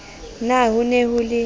na ho ne ho le